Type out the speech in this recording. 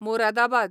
Moradabad